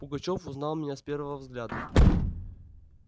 пугачёв узнал меня с первого взгляда